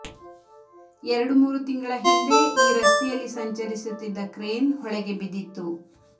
ಎರಡು ಮೂರು ತಿಂಗಳ ಹಿಂದೆ ಈ ರಸ್ತೆಯಲ್ಲಿ ಸಂಚರಿಸುತ್ತಿದ್ದ ಕ್ರೇನ್ ಹೊಳೆಗೆ ಬಿದ್ದಿತ್ತು